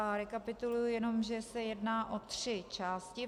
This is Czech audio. A rekapituluji jenom, že se jedná o tři části.